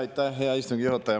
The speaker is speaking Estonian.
Aitäh, hea istungi juhataja!